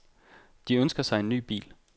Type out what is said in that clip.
De ønsker sig en ny bil.